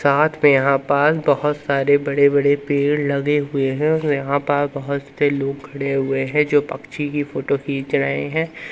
साथ में यहां पास बहोत सारे बड़े बड़े पेड़ लगे हुए हैं यहां पर बहोत से लोग खड़े हुए हैं जो पक्षी की फोटो खींच रहे है।